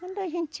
Quando a gente...